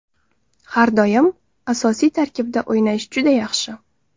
Har doim asosiy tarkibda o‘ynash juda yaxshi.